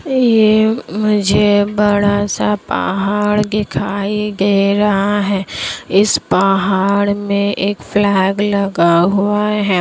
ये मुझे बड़ा-सा पहाड़ दिखाई दे रहा है इस पहाड़ मे एक फ्लैग लगा हुआ है।